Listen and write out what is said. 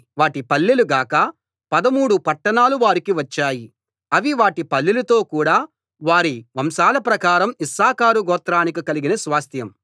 వాటి పల్లెలు గాక పదుమూడు పట్టణాలు వారికి వచ్చాయి అవి వాటి పల్లెలతో కూడ వారి వంశాల ప్రకారం ఇశ్శాఖారు గోత్రానికి కలిగిన స్వాస్థ్యం